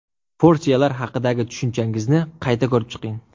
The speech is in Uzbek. Porsiyalar haqidagi tushunchangizni qayta ko‘rib chiqing.